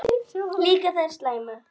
Líka þær slæmu.